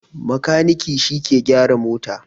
Makaniki shi ke gyaran mota